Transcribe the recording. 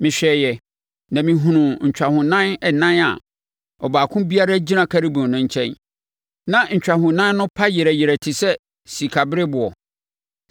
Mehwɛeɛ, na mehunuu ntwahonan ɛnan a baako biara gyina Kerubim nkyɛn, na ntwahonan no pa yerɛ yerɛ te sɛ sikabereɛboɔ.